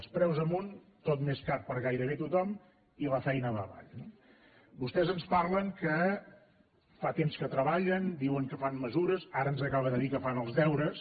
els preus amunt tot més car per a gairebé tothom i la feina va avall no vostès ens parlen que fa temps que treballen diuen que fan mesures ara ens acaba de dir que fan els deures